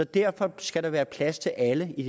derfor skal der være plads til alle i